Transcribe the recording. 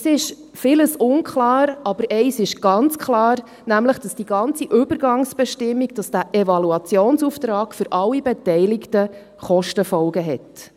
Es ist vieles unklar, aber eines ist ganz klar, nämlich, dass die ganze Übergangsbestimmung, dass dieser Evaluationsauftrag für alle Beteiligten Kostenfolgen hat.